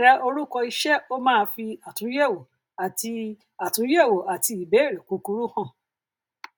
tẹ orúkọ iṣẹ ó máa fi àtúnyẹwò àti àtúnyẹwò àti ìbéèrè kúkúrú hàn